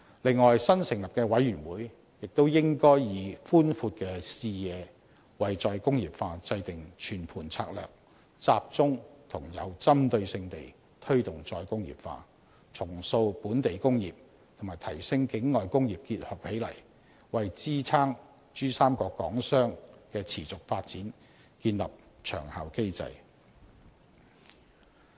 此外，新成立的委員會亦應以寬闊的視野為再工業化制訂全盤策略，集中和有針對性地推動再工業化，重塑本地工業與提升境內工業結合起來，為支撐珠三角港商的持續發展建立長效機制。